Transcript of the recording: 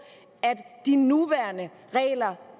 at de nuværende regler